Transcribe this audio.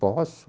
Posso.